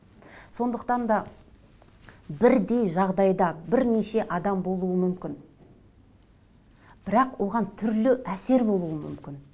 сондықтан да бірдей жағдайда бірнеше адам болуы мүмкін бірақ оған түрлі әсер болуы мүмкін